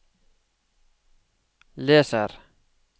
leser